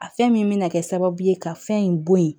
A fɛn min bɛ na kɛ sababu ye ka fɛn in bɔ yen